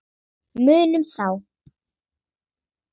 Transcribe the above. Munum þá.